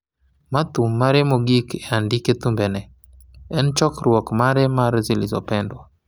ma thum mare mogik e andike thumbe ne en chokruok mare mar Zilizopendwa –